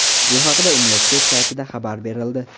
Bu haqda universitet saytida xabar berildi .